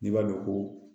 N'i b'a dɔn ko